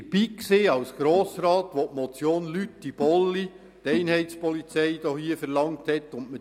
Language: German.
Ich war als Grossrat dabei, als die Motion Lüthi/Bolli hier die Einheitspolizei verlangte und man